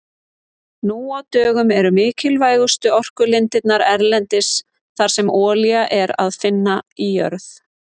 Nú á dögum eru mikilvægustu orkulindirnar erlendis þar sem olíu er að finna í jörð.